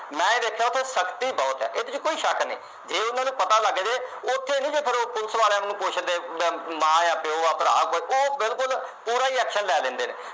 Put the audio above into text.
ਮੈਂ ਉਥੇ ਵੇਖਿਆ ਉਥੇ ਸਖਤੀ ਬਹੁਤ ਹੈ ਇਸ ਵਿਚ ਕੋਈ ਸ਼ੱਕ ਨਹੀ ਜੇ ਉਨ੍ਹਾਂ ਨੂੰ ਪਤਾ ਲੱਗ ਦੇ ਉਥੇ ਨੀ ਫੇਰ ਉਹ ਪੁਲਿਸ ਵਾਲਿਆਂ ਨੂੰ ਪੁੱਛਦੇ ਅਮ ਮਾਂ ਆ ਪਿਉ ਆ ਭਰਾ ਕੋਈ ਉਹ ਬਿਲਕੁਲ ਪੂਰਾ ਈ action ਲੈ ਲੈਂਦੇ